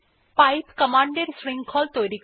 pipe command এর শৃঙ্খল তৈরী করে